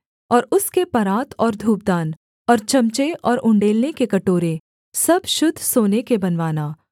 और उसके परात और धूपदान और चमचे और उण्डेलने के कटोरे सब शुद्ध सोने के बनवाना